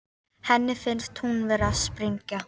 Henni finnst hún vera að springa.